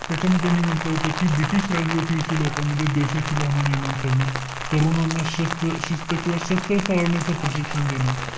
त्याच्यामध्ये त्यांनी म्हंटल होत कि british राजवटीविषयी लोकांमध्ये द्वेषाची भावना निर्माण करणं, तरुणांना शस्त्र किंवा शस्त्र चालवण्याचं प्रशिक्षण देणं.